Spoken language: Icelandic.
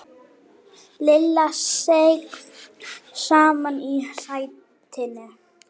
Lilla seig saman í sætinu.